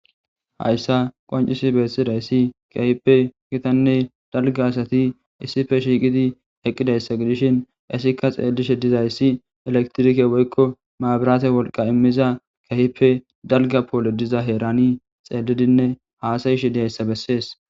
Hayssa qoncisi beessidayssi kehipe gitanne dalga asati issife shiiqidi eqqidayssa gidishin isikka xeelishe dizayssi elektrike woykko maabiraate wolqa immiza kehipe dalga poole diza heerani xeelidinne haasayi shiidihayssa bessees.